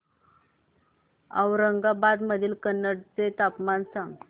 औरंगाबाद मधील कन्नड चे तापमान सांग